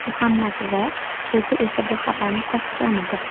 Muhammad V o‘zi esa bu xabarni tasdiqlamadi.